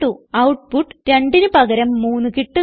output 2 ന് പകരം 3 കിട്ടുന്നു